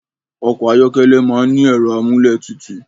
Ọkọ̀ ayọ́kẹ́lẹ̀ máa ń ní ẹ̀rọ amúlétutù